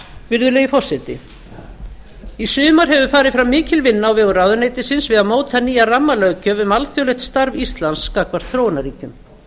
virðulegi forseti í sumar hefur farið fram mikil vinna á vegum ráðuneytisins við að móta nýja rammalöggjöf um alþjóðlegt starf íslands gagnvart þróunarríkjum